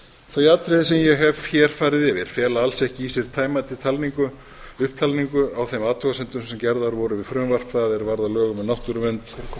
þau atriði sem ég hef hér farið yfir fela alls ekki í sér tæmandi upptalningu á þeim athugasemdum sem gerðar voru við frumvarp það er varð að lögum um náttúruvernd